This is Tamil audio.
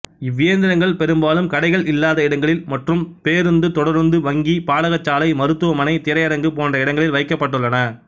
இவ்வியந்திரங்கள் பெரும்பாலும் கடைகள் இல்லாத இடங்களில் மற்றும் பேருந்து தொடருந்து வங்கி பாடசாலை மருத்துவமனை திரையரங்கு போன்ற இடங்களில் வைக்கப்பட்டுள்ளன